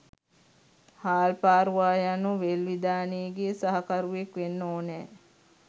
හාල්පාරුවා යනු වෙල් විදානේ ගේ සහකරුවෙක් වෙන්න ඕනෑ.